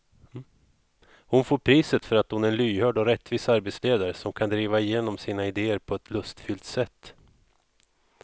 Hon får priset för att hon är en lyhörd och rättvis arbetsledare som kan driva igenom sina idéer på ett lustfyllt sätt.